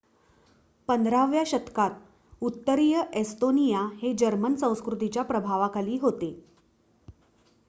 १५व्या शतकात उत्तरीय एस्तोनिया हे जर्मन संस्कृतीच्या प्रभावाखाली होते